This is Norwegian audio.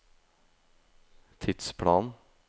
tidsplanen